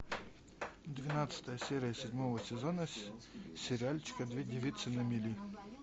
двенадцатая серия седьмого сезона сериальчика две девицы на мели